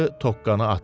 tokkanı atdım.